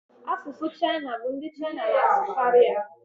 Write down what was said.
Asụsụ Chaịna bụ ndị Chaịna n'asụkari ya